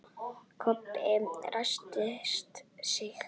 Kobbi ræskti sig.